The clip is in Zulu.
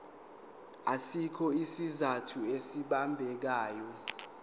asikho isizathu esibambekayo